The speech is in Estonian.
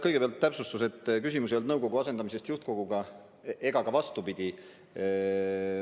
Kõigepealt täpsustus, et küsimus ei olnud nõukogu asendamisest juhtkoguga ega ka vastupidi.